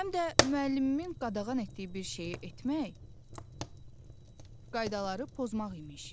Həm də müəllimimin qadağan etdiyi bir şeyi etmək qaydaları pozmaq imiş.